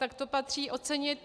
Tak to patří ocenit.